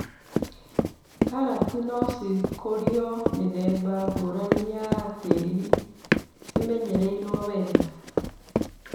Karati nocikũrio mĩithemba ngũrani ya tĩri cimenyereirwo wega.